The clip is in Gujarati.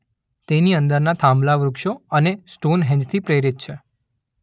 તેની અંદરના થાંભલા વૃક્ષો અને સ્ટોન હેંજ થી પ્રેરિત છે.